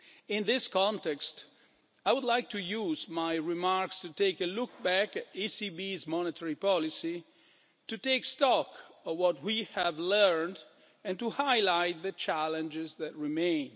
In this context, I would like to use my remarks to take a look back at the ECB's monetary policy, to take stock of what we have learned and to highlight the challenges that remain.